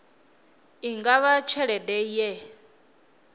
i nga vha tshelede ye